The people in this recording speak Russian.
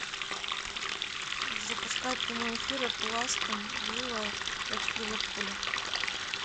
запускай прямой эфир апл астон вилла против ливерпуля